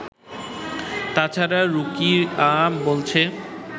তা ছাড়া রুকিয়া বলেছে